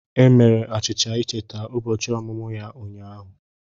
E mere achicha ịcheta ụbọchị ọmụmụ ya ụnyaahụ.